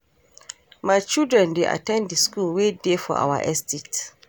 My children dey at ten d the school wey dey for our estate